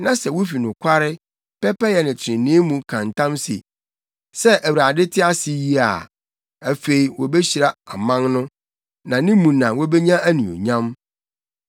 na sɛ wufi nokware, pɛpɛyɛ ne trenee mu ka ntam se, ‘Sɛ Awurade te ase yi,’ a afei wobehyira aman no na ne mu na wobenya anuonyam.”